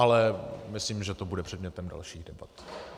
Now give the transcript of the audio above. Ale myslím, že to bude předmětem dalších debat.